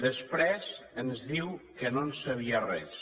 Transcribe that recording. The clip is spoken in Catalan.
després ens diu que no en sabia res